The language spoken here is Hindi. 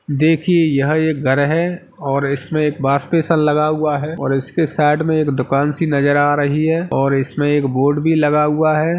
देखिए यह एक घर है और इस पर एक वॉश बिसेन लगा हुआ है और इसके साइड में एक दुकान सी नजर आ रही है और इसमें एक बोर्ड भी लगा हुआ है।